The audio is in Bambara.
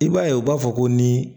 I b'a ye u b'a fɔ ko ni